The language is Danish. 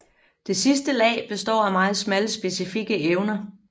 Det sidste lag består af meget smalle specifikke evner